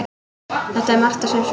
Það er Marta sem spyr.